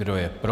Kdo je pro?